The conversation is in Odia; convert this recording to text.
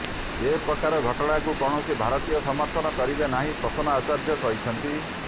ଏ ପ୍ରକାର ଘଟଣାକୁ କୌଣସି ଭାରତୀୟ ସମର୍ଥନ କରିବେ ନାହିଁ ପ୍ରସନ୍ନ ଆଚାର୍ଯ୍ୟ କହିଛନ୍ତି